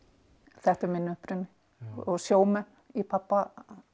þetta er minn uppruni og sjómenn í pabba